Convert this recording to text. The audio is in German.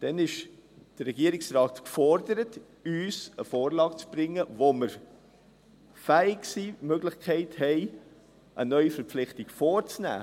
– Dann ist der Regierungsrat gefordert, uns eine Vorlage zu bringen, aufgrund derer wir fähig sind, die Möglichkeit haben, eine Neuverpflichtung vorzunehmen.